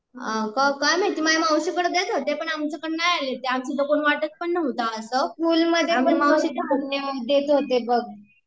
काय माहिती, माझ्या मावशी कडे देत होते पण आमच्याकडे नाय आले ते आमच्या तर कोण वाटत पण नवता असं